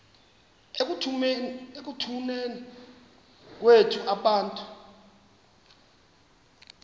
ekutuneni kwethu abantu